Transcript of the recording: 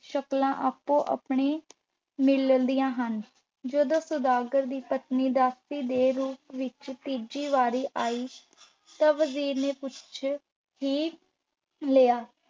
ਸ਼ਕਲਾਂ ਆਪੋ ਆਪਣੀ ਮਿਲਦੀਆਂ ਹਨ। ਜਦੋਂ ਸੁਦਾਗਰ ਦੀ ਪਤਨੀ ਦਾਸੀ ਦੇ ਰੂਪ ਵਿੱਚ ਤੀਜੀ ਵਾਰੀ ਆਈ ਤਾਂ ਵਜ਼ੀਰ ਨੇ ਪੁੱਛ ਹੀ ਲਿਆ,